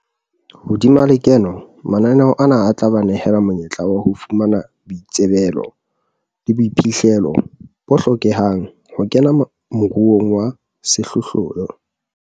Hodima lekeno, mananeo ana a tla ba nehela monyetla wa ho fumana boitsebelo le boiphihlelo bo hlokehang ho kena moruong wa sehlohlolo.